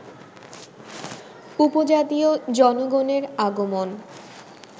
উপজাতীয় জনগণের আগমন